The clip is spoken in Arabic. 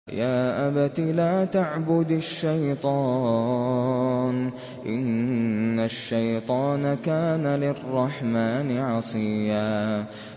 يَا أَبَتِ لَا تَعْبُدِ الشَّيْطَانَ ۖ إِنَّ الشَّيْطَانَ كَانَ لِلرَّحْمَٰنِ عَصِيًّا